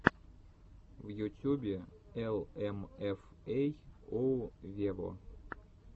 в ютюбе эл эм эф эй оу вево